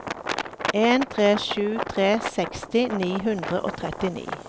en tre sju tre seksti ni hundre og trettini